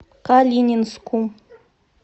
калининску